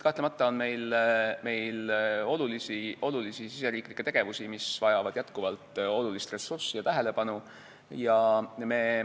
Kahtlemata on meil olulisi riigisiseseid tegevusi, mis vajavad jätkuvalt ressurssi ja tähelepanu.